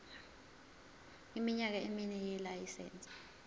iminyaka emine yelayisense